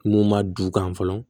Mun ma du kan fɔlɔ